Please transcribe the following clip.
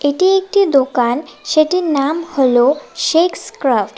এটি একটি দোকান সেটির নাম হল শেকস ক্রাফট ।